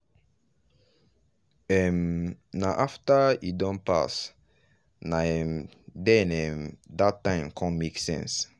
um na after e don pass nah um then um that time con make sense.